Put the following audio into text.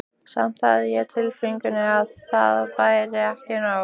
Samt hafði ég á tilfinningunni að það væri ekki nóg.